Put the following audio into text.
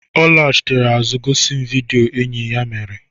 Ọ lachitere azụ gosi m vido enyi ya mere.